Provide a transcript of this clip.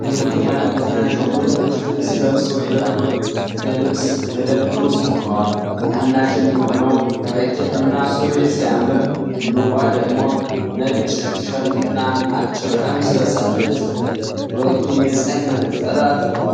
ሁለት የማኔኪን አሻንጉሊቶች ልብስ ለብሰው የልብስ መደብር ውስጥ ቆመዋል። ታናሽ የሚሆነው በጃኬትና ሱሪ ሲያምር፣ ትልቋ ደግሞ ነጭ ቲሸርትና አጭር ቀሚስ ለብሳለች። ሁለቱም የፀሐይ መነጽር አድርገዋል።